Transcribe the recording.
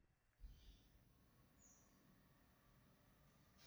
Waa maxay astamaha iyo calaamadaha Wildervanck ciladha?